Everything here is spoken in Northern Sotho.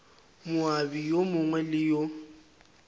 moabi yo mongwe le yo